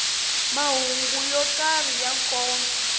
mahungu yo karhi ya nkoka